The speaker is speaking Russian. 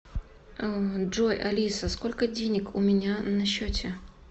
джой алиса сколько денег у меня на счете